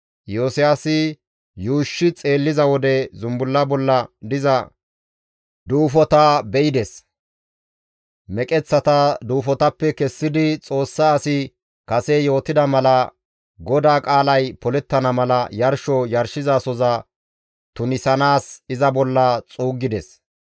Iyosiyaasi yuushshi xeelliza wode zumbulla bolla diza duufota be7ides; meqeththata duufotappe kessidi Xoossa asi kase yootida mala GODAA qaalay polettana mala yarsho yarshizasohoza tunisanaas iza bolla xuuggides.